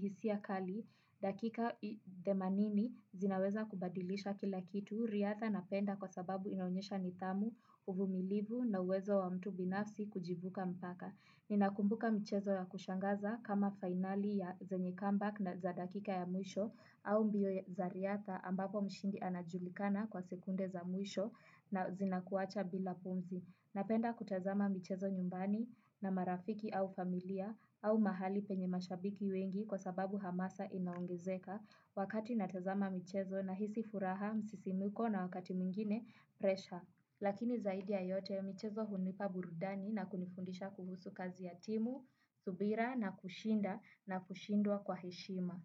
hisia kali, dakika themanini zinaweza kubadilisha kila kitu, riadha napenda kwa sababu inaonyesha nidhamu, uvumilivu na uwezo wa mtu binafsi kujivuka mpaka. Ninakumbuka mchezo ya kushangaza kama fainali ya zenye comeback na za dakika ya mwisho au mbio za riadha ambapo mshindi anajulikana kwa sekunde za mwisho na zinakuacha bila pumzi. Napenda kutazama mchezo nyumbani na marafiki au familia au mahali penye mashabiki wengi kwa sababu hamasa inaongezeka wakati natazama mchezo nahisi furaha msisimuko na wakati mingine presha. Lakini zaidi ya yote mchezo hunipa burudani na kunifundisha kuhusu kazi ya timu, subira na kushinda na kushindwa kwa heshima.